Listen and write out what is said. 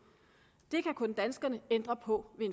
det kan kun danskerne ændre på